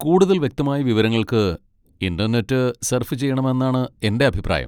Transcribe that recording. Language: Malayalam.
കൂടുതൽ വ്യക്തമായ വിവരങ്ങൾക്ക് ഇന്റർനെറ്റ് സർഫ് ചെയ്യണമെന്നാണ് എന്റെ അഭിപ്രായം.